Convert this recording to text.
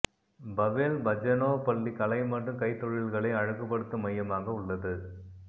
Powell Bazhenov பள்ளி கலை மற்றும் கைத்தொழில்களை அழகுபடுத்தும் மையமாக உள்ளது